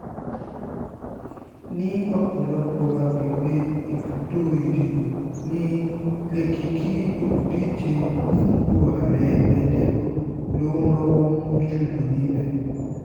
ní ọ̀pọ̀lọpọ̀ àgbègbè ibùdó ìdìbò ní lèkìkì olùdíje fúnpò ààrẹ ẹgbẹ́ labour ló ń rọ́wọ́ mú jù lọ níbẹ̀